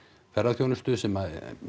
ferðaþjónustu sem